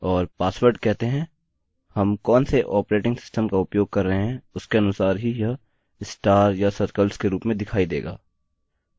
और password कहते हैं हम कौनसे ऑपरेटिंग सिस्टम का उपयोग कर रहे हैं उसके अनुसार ही यह स्टार या सर्कल्स के रूप में दिखाई देगा